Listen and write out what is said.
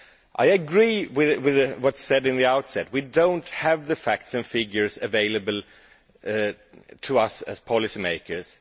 I agree with what was said at the outset we do not have the facts and figures available to us as policy makers